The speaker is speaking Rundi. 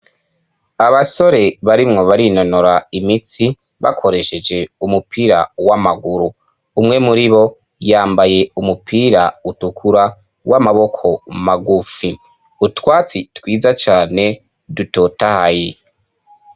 Abasore barimwo barinonora imitsi bakoresheje umupira w'amaguru. Umwe muribo yambaye umupira utukura w'amaboko magufi. Utwatsi twiza cyane dutotahaye.